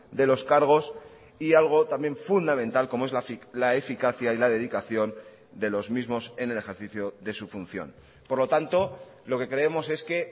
de los cargos y algo también fundamental como es la eficacia y la dedicación de los mismos en el ejercicio de su función por lo tanto lo que creemos es que